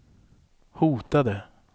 hotade